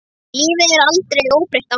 Lífið er aldrei óbreytt ástand.